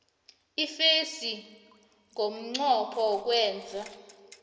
iimfesi ngomnqopho wokwenza